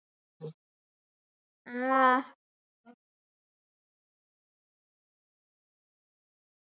Þetta eru fáránlegar ásakanir og algjörlega tilefnislausar.